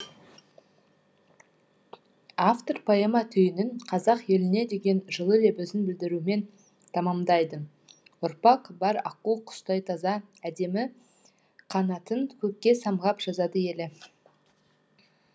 автор поэма түйінін қазақ еліне деген жылы лебізін білдірумен тамамдайды ұрпақ бар аққу құстай таза әдемі қанатын көкке самғап жазады елі